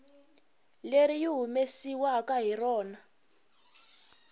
leri yi humesiwaku hi rona